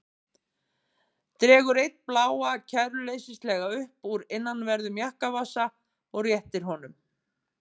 Dregur einn bláan kæruleysislega upp úr innanverðum jakkavasa og réttir honum.